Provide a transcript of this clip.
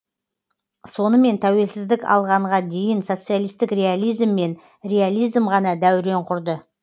сонымен тәуелсіздік алғанға дейін социалистік реализм мен реализм ғана дәурен құрды